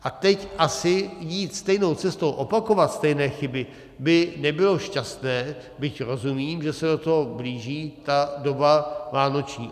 A teď asi jít stejnou cestou, opakovat stejné chyby by nebylo šťastné, byť rozumím, že se do toho blíží ta doba vánoční.